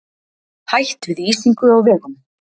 Hætt við ísingu á vegum